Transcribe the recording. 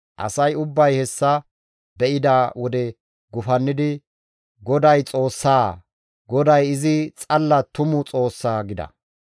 Asay ubbay hessa be7ida wode gufannidi, «GODAY Xoossaa! GODAY izi xalla tumu Xoossaa!» gida.